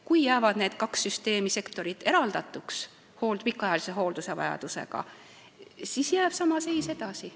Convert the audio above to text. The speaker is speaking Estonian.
Kui need kaks süsteemi või sektorit jäävad pikaajalise hooldusvajadusega inimese puhul eraldatuks, siis jääb sama seis edasi.